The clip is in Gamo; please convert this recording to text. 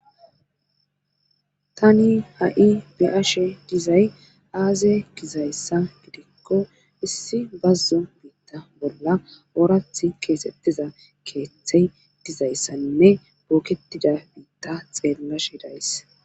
Tani hai be7ashe dizay aaze gizayssa gidikko issi bazzo biitta bolla oorath keesettiza keeththey dizayssanne booketida biitta xeenlashi days.